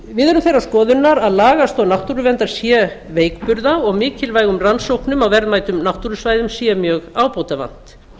við erum þeirrar skoðunar að lagastoð náttúruverndar sé veikburða og mikilvægum rannsóknum á verðmætum náttúrusvæðum sé mjög ábótavant